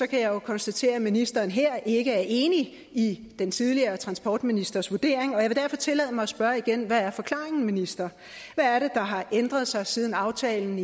kan jeg konstatere at ministeren her ikke er enig i den tidligere transportministers vurdering og jeg vil derfor tillade mig at spørge igen hvad er forklaringen minister hvad er det der har ændret sig siden aftalen